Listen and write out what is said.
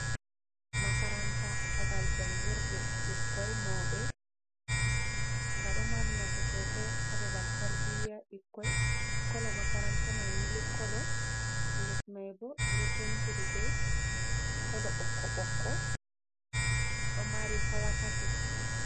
Makaranta, babal jangirɗe ɓikkoi, mauɓe, nga ɗo mari nafu sosai haa babal tarbiya ɓikkoi kolo makaranta mai milik kolo lesmaibo ɓe ɗo pentiri ɓe kolo ɓokko ɓokko ɗo mari hawa tati.